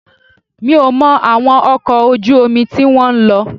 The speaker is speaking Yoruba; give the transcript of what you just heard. Mi ò mọ àwọn ọkọ̀ ojú omi tí wọ́n ń lò